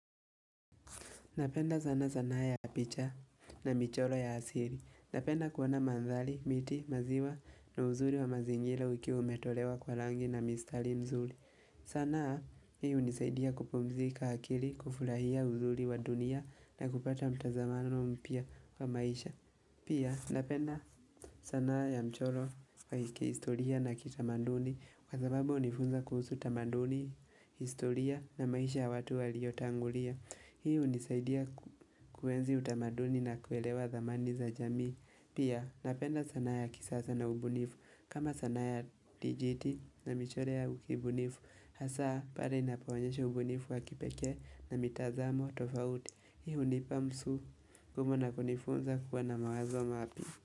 Napenda sana zanaa ya picha na mchoro ya asili. Napenda kuona manthari, miti, maziwa na uzuri wa mazingira ukiwa umetolewa kwa rangi na mistari mzuri. Sanaa hii unisaidia kupumzika akili, kufurahia uzuri wa dunia na kupata mtazamano mpiya wa maisha. Pia napenda sanaa ya mchoro wa kihistoria na kitamaduni kwa sababu hunifunza kuhusu tamaduni, historia na maisha ya watu waliotangulia. Hii hunisaidia kuenzi utamaduni na kuelewa thamani za jamii Pia napenda sanaa ya kisasa na ubunifu kama sana ya dijiti na michore ya ukibunifu Hasa pale inapoonyesha ubunifu wa kipekee na mitazamo tofauti Hii hunipa msu kumo na kunifunza kuwa na mawazo mapya.